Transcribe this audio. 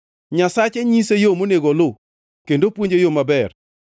Nyasache nyise yo monego oluw kendo puonje yo maber.